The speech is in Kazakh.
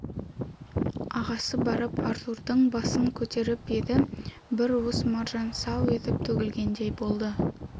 ағасы барып артурдың басын көтеріп еді бір уыс маржан сау етіп төгілгендей болды